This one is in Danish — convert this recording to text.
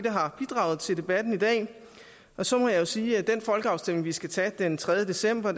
har bidraget til debatten i dag og så må jeg jo sige at den folkeafstemning vi skal tage den tredje december